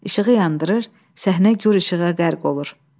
İşığı yandırır, səhnə gur işığa qərq olur.